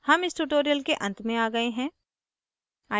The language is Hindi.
हम इस tutorial के अंत में आ गए हैं